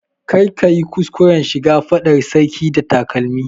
Kar ka yi kuskuran shiga fadar sarki da takalmi!